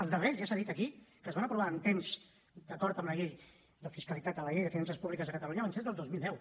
els darrers ja s’ha dit aquí que es van aprovar amb temps d’acord amb la llei de fiscalitat amb la llei de finances públiques de catalunya van ser els del dos mil deu